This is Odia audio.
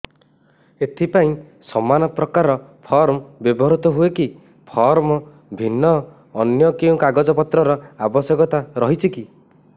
ଏଥିପାଇଁ ସମାନପ୍ରକାର ଫର୍ମ ବ୍ୟବହୃତ ହୂଏକି ଫର୍ମ ଭିନ୍ନ ଅନ୍ୟ କେଉଁ କାଗଜପତ୍ରର ଆବଶ୍ୟକତା ରହିଛିକି